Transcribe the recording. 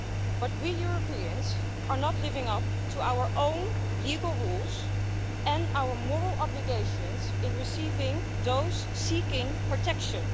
But we Europeans are not living up to our own legal rules and our moral obligations in receiving those seeking protection.